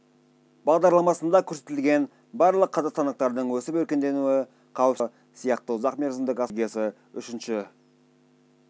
бағдарламасында көрсетілген барлық қазақстандықтардың өсіп-өркендеуі қауіпсіздігі мен әл-ауқатының артуы сияқты ұзақ мерзімдік асыру стратегиясын үшінші